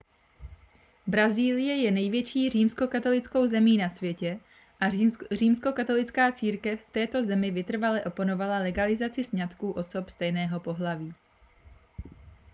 brazílie je největší římskokatolickou zemí na světě a římskokatolická církev v této zemi vytrvale oponovala legalizaci sňatků osob stejného pohlaví